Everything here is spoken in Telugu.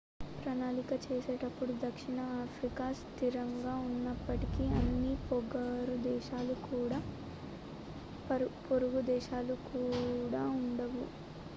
ప్రణాళిక చేసేటప్పుడు దక్షిణ ఆఫ్రికా స్థిరంగా ఉన్నప్పటికీ అన్ని పొరుగు దేశాలు కూడా ఉండవు